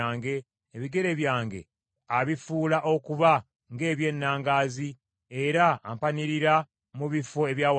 Ebigere byange abifuula okuba ng’eby’ennangaazi, era ampanirira mu bifo ebya waggulu.